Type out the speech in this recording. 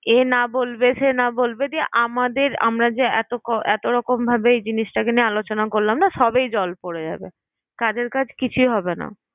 এ না বলবে, সে না বলবে দিয়ে আমাদের আমরা যে এত রকমভাবে জিনিসটাকে নিয়ে আলোচনা করলাম না সবই জল পরে যাবে কাজের কাজ কিছুই হবে না।